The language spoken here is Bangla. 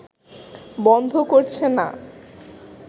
বন্ধ করছে না